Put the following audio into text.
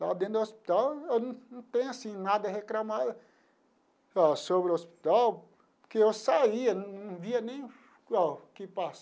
Lá dentro do hospital eu não tenho assim nada a reclamar ó sobre o hospital, porque eu saía, não não via nem o que passava.